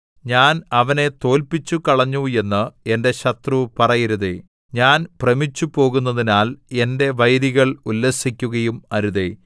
ഞാൻ അവനെ തോല്പിച്ചുകളഞ്ഞു എന്ന് എന്റെ ശത്രു പറയരുതേ ഞാൻ ഭ്രമിച്ചുപോകുന്നതിനാൽ എന്റെ വൈരികൾ ഉല്ലസിക്കുകയും അരുതേ